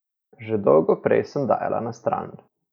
Že dolgo prej sem dajala na stran.